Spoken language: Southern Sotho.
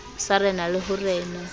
sa rena le ho rena